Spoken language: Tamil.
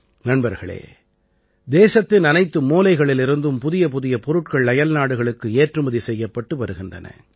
நண்பர்களே தேசத்தின் அனைத்து மூலைகளிலிருந்தும் புதியபுதிய பொருட்கள் அயல்நாடுகளுக்கு ஏற்றுமதி செய்யப்பட்டு வருகின்றன